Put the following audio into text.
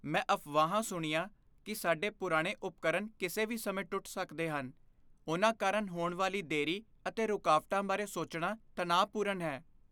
ਮੈਂ ਅਫਵਾਹਾਂ ਸੁਣੀਆਂ ਕਿ ਸਾਡੇ ਪੁਰਾਣੇ ਉਪਕਰਣ ਕਿਸੇ ਵੀ ਸਮੇਂ ਟੁੱਟ ਸਕਦੇ ਹਨ। ਉਨ੍ਹਾਂ ਕਾਰਨ ਹੋਣ ਵਾਲੀ ਦੇਰੀ ਅਤੇ ਰੁਕਾਵਟਾਂ ਬਾਰੇ ਸੋਚਣਾ ਤਣਾਅਪੂਰਨ ਹੈ।